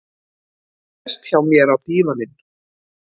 Sest hjá mér á dívaninn.